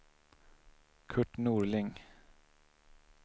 Curt Norling